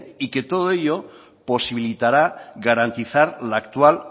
y que todo ello posibilitará garantizar la actual